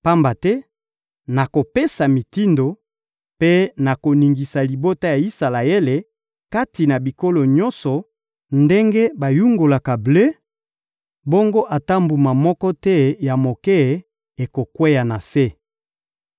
«Pamba te nakopesa mitindo mpe nakoningisa libota ya Isalaele kati na bikolo nyonso ndenge bayungolaka ble; bongo ata mbuma moko te ya moke ekokweya na se.